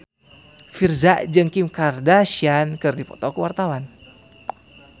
Virzha jeung Kim Kardashian keur dipoto ku wartawan